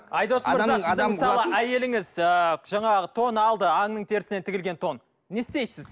айдос мырза сіз мысалы әйеліңіз ыыы жаңағы тон алды аңның терісінен тігілген тон не істейсіз